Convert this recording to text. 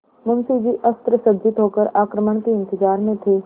मुंशी जी अस्त्रसज्जित होकर आक्रमण के इंतजार में थे